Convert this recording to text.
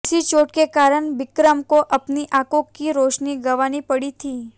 इसी चोट के कारण बिक्रम को अपनी आंखों की रोशनी गंवानी पड़ी थी